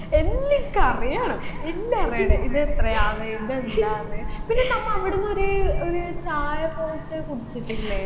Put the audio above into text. എല്ലും ഇൻക്കറിയണം എല്ലും അറിയണം ഇതെത്രയാണ് ഇതെന്താണ് പിന്നെ നമ്മ അവിടുന്നൊര് ഒരു ചായ പോലെത്തെ കുടിച്ചിട്ടില്ലേ